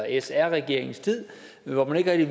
sr regeringens tid hvor man ikke